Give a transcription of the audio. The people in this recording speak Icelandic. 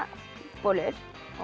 bolur og